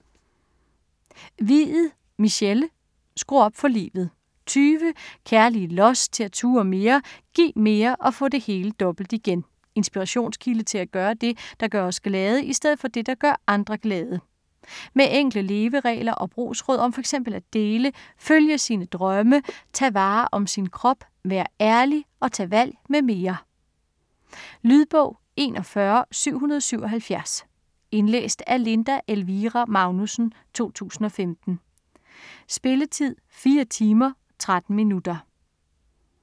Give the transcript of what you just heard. Hviid, Michelle: Skru op for livet 20 kærlige los til at turde mere, give mere og få det hele dobbelt igen. Inspirationskilde til at gøre det, der gør os glade, i stedet for det der gør andre glade. Med enkle leveregler og brugsråd om fx at dele, følge sine drømme, tage vare om sin krop, være ærlig og tage valg mm. Lydbog 41777 Indlæst af Linda Elvira Magnussen, 2015. Spilletid: 4 timer, 13 minutter.